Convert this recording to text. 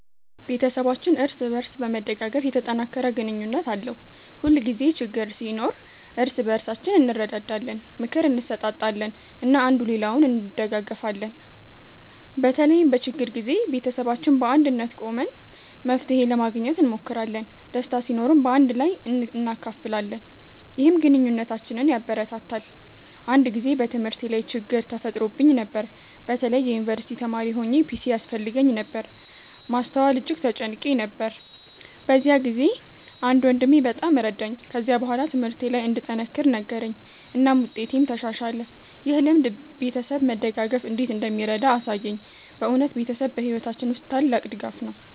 ቤተሰባችን እርስ በእርስ በመደጋገፍ የተጠናከረ ግንኙነት አለው። ሁልጊዜ ችግኝ ሲኖር እርስ በእርሳችን እንረዳዳለን፣ ምክር እንሰጣጣለን እና አንዱ ሌላውን እንደጋገፊለን። በተለይም በችግር ጊዜ ቤተሰባችን በአንድነት ቆመን መፍትሄ ለማግኘት እንሞክራለን። ደስታ ሲኖርም በአንድ ላይ እናካፍላለን፣ ይህም ግንኙነታችንን ያበረታታል። አንድ ጊዜ በትምህርቴ ላይ ችግኝ ተፈጥሮብኝ ነበር። በተለይ የዩንቨርሲቲ ተማሪ ሆኘ ፒሲ ያስፈልገኝ ነበር ማስተዋል እጅግ ተጨንቄ ነበር። በዚያ ጊዜ አንድ ወንድሜ በጣም ረዳኝ። ከዚያ በኋላ ትምህርቴ ለይ እንድጠነክር ነገረኝ እናም ውጤቴም ተሻሻለ። ይህ ልምድ ቤተሰብ መደጋገፍ እንዴት እንደሚረዳ አሳየኝ። በእውነት ቤተሰብ በሕይወታችን ውስጥ ታላቅ ድጋፍ ነው።